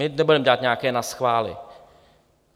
My nebudeme dělat nějaké naschvály.